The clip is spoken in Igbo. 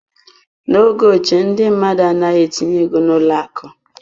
N'oge ochie, ndị mmadụ anaghị etinye ego n'ụlọ akụ.